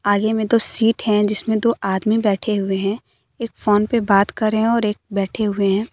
आगे मे दो सीट है जिसमें दो आदमी बैठें हुए हैं एक फोन पे बात कर रहे हैं और एक बैठे हुए हैं।